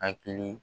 Hakili